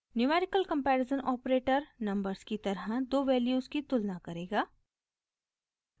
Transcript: numerical comparison operator numbers की तरह दो वैल्यूज़ की तुलना करेगा